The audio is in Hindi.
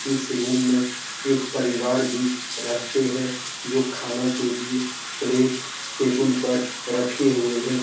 इस रूम में एक परिवार भी रहते है जो खाना के लिए प्लेट टेबुल पर रखे हुए है।